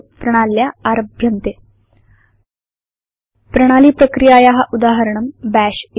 समये वा प्रणाल्या आरभ्यन्ते प्रणाली प्रक्रियाया उदाहरणं बश्